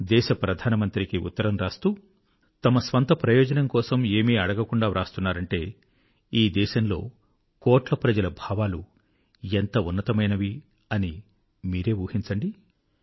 దేశ ప్రధానమంత్రికి ఉత్తరం వ్రాస్తూ తమ స్వంత ప్రయోజనం కోసం ఏమీ అడగకుండా వ్రాస్తున్నారంటే ఈ దేశంలో కోట్ల ప్రజల భావాలు ఎంత ఉన్నతమైనవి అని మీరే ఊహించండి